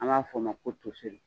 An b'a f'o ma ko toseri